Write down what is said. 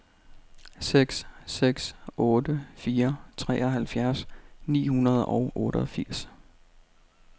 seks seks otte fire treoghalvfems ni hundrede og otteogfirs